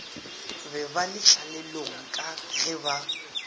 be ba letlalelong ka geba